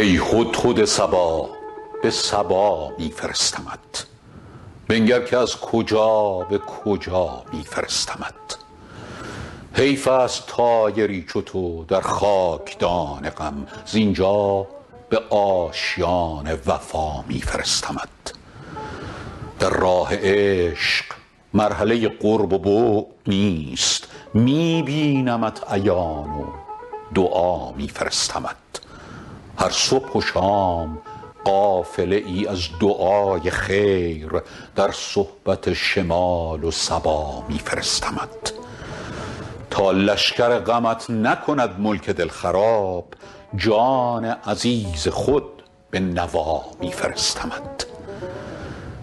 ای هدهد صبا به سبا می فرستمت بنگر که از کجا به کجا می فرستمت حیف است طایری چو تو در خاک دان غم زین جا به آشیان وفا می فرستمت در راه عشق مرحله قرب و بعد نیست می بینمت عیان و دعا می فرستمت هر صبح و شام قافله ای از دعای خیر در صحبت شمال و صبا می فرستمت تا لشکر غمت نکند ملک دل خراب جان عزیز خود به نوا می فرستمت